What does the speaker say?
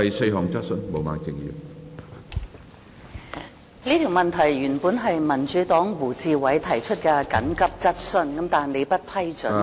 主席，民主黨的胡志偉議員原本要求提出這項緊急質詢，但不獲你批准。